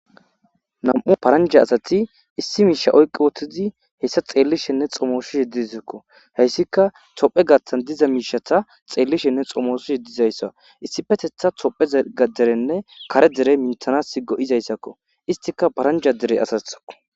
Namu'u paraja assati issi misha oyiki uttidi xellishene xomosishe dossona . hayisika tophe gathani xomosishe dizayisa isipetethani hayissa tophe gaderane go'izayiako izika paranija dere assako